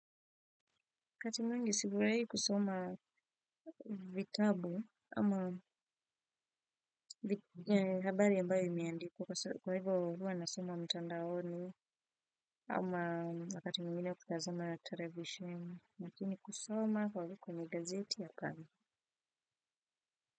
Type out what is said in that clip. Kati mungi sifurai kusoma vitabu ama habari ambayo imiandikwa kwa hivyo huwa anasoma mtandaoni ama wakati mwingine kutazama ya television lakini kusoma kwa hivyo kwenye gazeti ya kama.